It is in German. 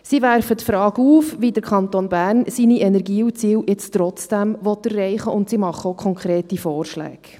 Sie werfen die Frage auf, wie der Kanton Bern seine Energieziele jetzt trotzdem erreichen will, und sie machen auch konkrete Vorschläge.